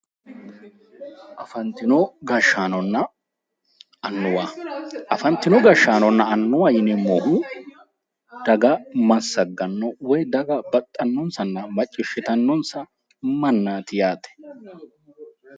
afantino gashshaanonna annuwa, afantino gashshaanonna yineemmohu daga massagganno woy daga baxxannonsa maciishshitannonsa mannaati yaate.